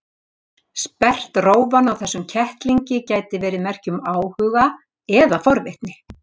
Sperrt rófan á þessum kettlingi gæti verið merki um áhuga eða forvitni.